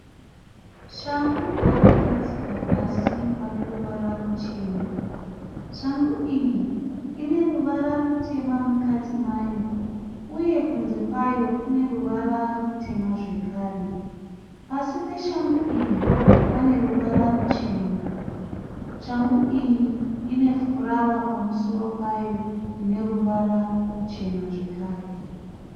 Shangu yakagadzikwa pasi pane ruvara ruchena. Shangu iyi ine ruvara rutema mukati mayo uye kunze kwayo kune ruvara rutema zvekare. Pasi peshangu iyi pane ruvara ruchena. Shangu iyi ine furawa pamusoro payo ine ruvara ruchena zvekare.